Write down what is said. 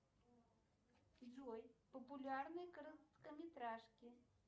джой популярные короткометражки